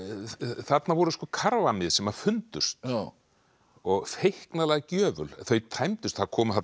þarna voru karfamið sem fundust og gjöful þau tæmdust það komu þarna